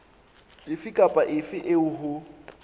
efe kapa efe eo ho